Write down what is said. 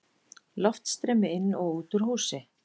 Loftstreymi inn og út úr húsi.